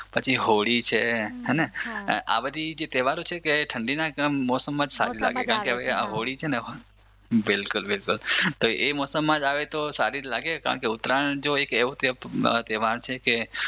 પછી હોળી છે હેને આ બધી જે તહેવારો છે ઠંડીના મોસમમાં જ સારી લાગે કારણ કે હોળી છે બિલકુલ બિલકુલ તો એ મોસમમાં જ આવે તો સારી જ લાગે ને ઉતરાયણ જો એક એવો તહેવાર છે કે પછી હોળી છે.